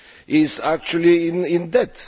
is actually in debt.